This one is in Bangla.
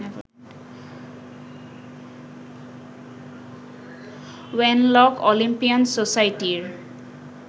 ওয়েনলক অলিম্পিয়ান সোসাইটির